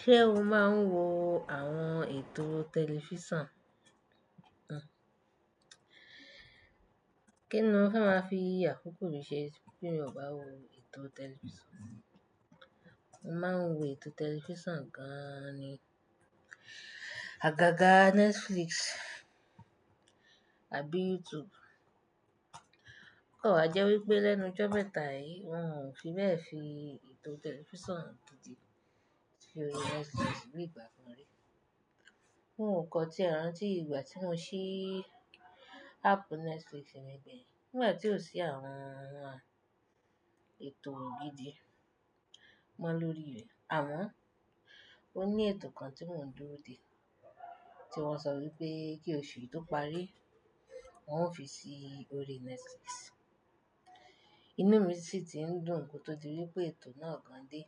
Ṣé o máa ń wo àwọn ètò tẹlifísàn? Kíni mo fe ma fi akókó mi ṣe, ti mi ò bá wo ètò tẹlifísàn? Mo máa ń wo ètò tẹlifísàn gan ni. Àgàgà Netflix àbí YouTube. O Kò wa jẹ́ wípé lẹ́nu ijo mẹ́ta yìí wọ́n fi bẹ́ẹ̀ fi ètò tẹlifísàn tuntun sórí Netflix bí ìgbà kan rí. N ò kọ tí ẹran tí ìgbà tí mo ṣí áápù Netflix mi gbeyin Nígbà tí ò sí àwọn, àwọn ètò gidi mọ́ lórí rẹ̀. Àmọ́n ó ní ètò kan tí mò ń dúró de, tí wọ́n sọ wípé kí oṣù yìí tó parí wón ó fi sí orí Netflix. Inú mi sì ti ń dùn kótó di wípé ètò náà kàn dé.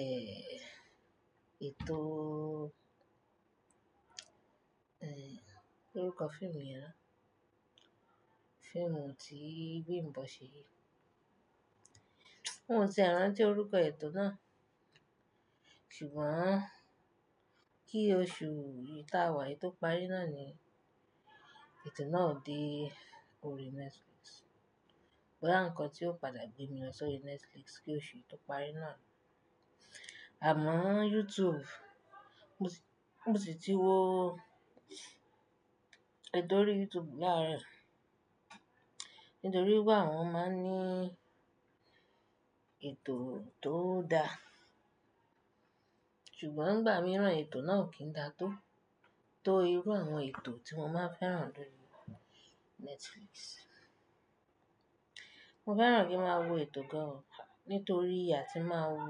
Ẹ̀, ètò, ẹ̀, kini orúkọ fíìmù yen na Fíìmù tí Bimbo ṣe. Mi o ti e rantí orúkọ ètò náà. Sugbon kí oṣù yìí tá a wá kò to parí náàni ètò náà ó dé orí Netflix. Boya ǹkón tí ó padà gbé mi lọ sórí Netflix kí oṣù yìí tó parí náà. Àmọ́ YouTube, mo sì ti wo ètò orí YouTube laro yii Nítorí wípé àwọn máa ń ní ètò tó da. Sugbon ìgbà mìíràn ètò náà kìn da tó, tó irú àwọn ètò tí mo máa ń fẹ́ràn lorí Netflix. Mo fẹ́ràn kí n máa wo ètò gan-an, nítorí àtí màá wo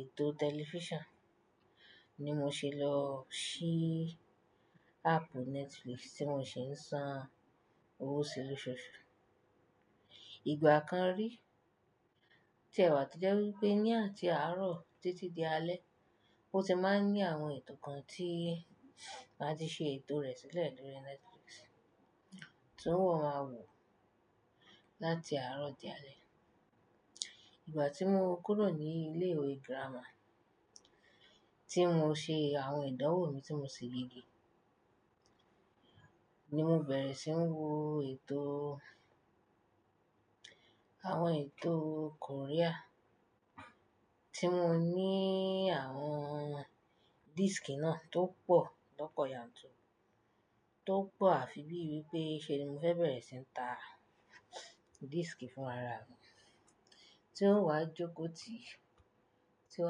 ètò tẹlifísàn, ni mo ṣe lọ ṣí áápù Netflix tí mo sì ń san owó si ni lóṣọ̀ṣù. Ìgbà kan rí, o tí ẹ̀wà ti jẹ́ wípé ní àti àárọ̀ títí di alẹ́ ó ti máa ń ní àwọn ètò kan tí màá ti ṣe ètò rẹ̀ sílẹ̀ lórí Netflix tí n ò máa wò láti àárọ̀ di alẹ́. Ìgbà tí mo kúrò ní ilé ìwé gírámà tí mo ṣe àwọn ìdánwò mi tí mo ṣè yege ni mo bẹ̀rẹ̀ sí ń wo ètò, àwọn ètò Korea tí mo ní àwọn dískì náà tó pọ̀ lọ́pọ̀ yanturu tó pọ̀ àfi bí i wípé ṣe ni mo fẹ́ bẹ̀rẹ̀ sí ń ta dískì fún ara mi tí n ò ha jókòó tì tí n ò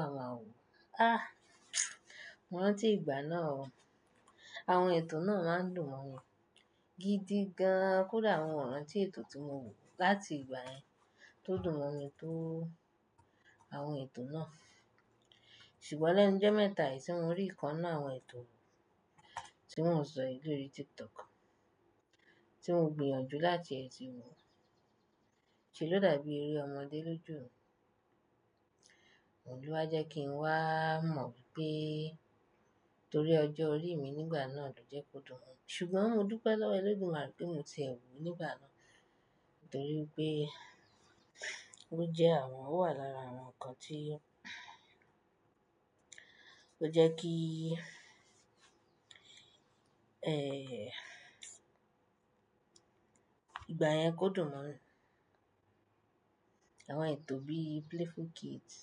ha máa wò. Ah! Mó rántí ìgbà náà o. Àwọn ètò náà máa ń dùn mọ́ mi gidi gan-an kódà àwọn ìran tí ètò tí mo wò láti ìgbà yẹn tó dùn mọ́ mi tó àwọn ètò náà. Ṣùgbọ́n lẹ́nu ijo mẹ́ta yìí tí mo rí ìkan ninu àwọn ètò tí mọ́ n sọ lórí TikTok. Tí mo gbìyànjú láti ẹ ti wò. Ṣé ló dàbí eré ọmọdé lójú mi? Òun lo jẹ́ kí n wá mọ̀ wípé torí ọjọ́ orí mi nígbà náà ló jẹ́ kó dùn mi. Ṣùgbọ́n mo dúpẹ́ lọ́wọ́ Ẹlọ́dùmarè pé mo ti ẹ wò ó nígbà náà nítorí pé ó jẹ́ àwọn, ó wà lára àwọn nǹkan tí ó jẹ́ kí, ẹ́, ìgbà yẹn kó dùn mọ́ mi. Àwọn ètò bí i Playful Kids,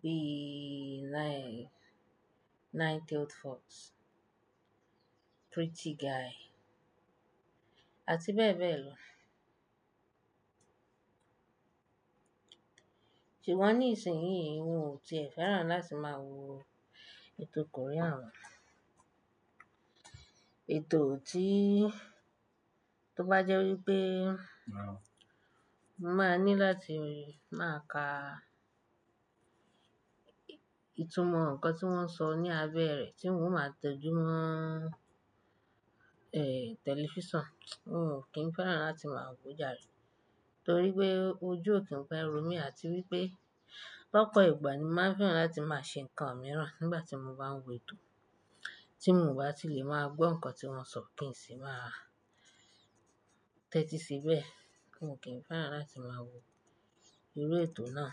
bí i Nine, Nine-tailed Fox, Pretty Guy àti bẹ́ẹ̀ bẹ́ẹ̀ lọ. Ṣùgbọ́n ní ìsìnyí ìí wo ò ti fẹ́ràn láti máa wo ètò Korea mọ́. Ètò tí tó bá jẹ́ wípé mo máa ní láti máa ka ìtumọ̀ nǹkan tí wọ́n ń sọ ní abẹ́ rẹ̀ tí mò ń máa tọ́jú mọ́, ẹ́, tẹlifísàn. N ò kí ń fẹ́ràn láti máa wo já rẹ̀ torí pé ojú ò kí ń pẹ́ ro mí àti wípé lọ́pọ̀ ìgbà ni mo máa ń fẹ́ràn láti máa ṣe nǹkan mìíràn nígbà tí mo bá ń wo ètò tí mò ń bá ti lè máa gbọ́ nǹkan tí wọ́n ń sọ kí n sì máa tẹ́tí síbẹ̀. Mo ko kíń fẹ́ràn láti máa wo irú ètò náà.